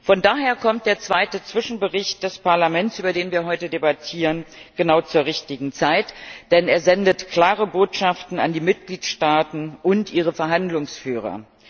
Von daher kommt der zweite Zwischenbericht des Parlaments, über den wir heute debattieren, genau zur richtigen Zeit, denn er sendet klare Botschaften an die Mitgliedstaaten und ihre Verhandlungsführer.